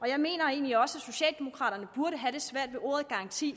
jeg mener egentlig også at socialdemokraterne burde have det svært med ordet garanti